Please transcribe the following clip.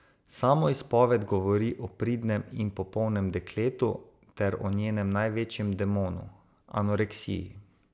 Samoizpoved govori o pridnem in popolnem dekletu ter o njenem največjem demonu, anoreksiji.